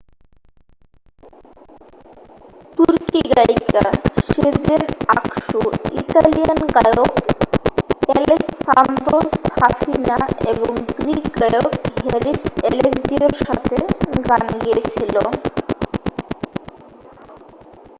তুর্কি গায়িকা Sezen Aksu Italian গায়ক অ্যাালেসান্দ্রো সাফিনা এবং গ্রীক গায়ক হ্যারিস অ্যাালেক্সিওর সাথে গান গেয়েছিল